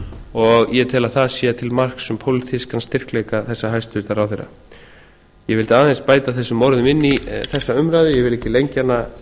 og ég tel að það sé til marks um pólitískan styrkleika þessa hæstvirtur ráðherra ég vildi aðeins bæta þessum orðum inn í þessa umræðu ég vil ekki lengja hana